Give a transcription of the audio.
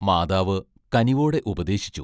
മാതാവ് കനിവോടെ ഉപദേശിച്ചു.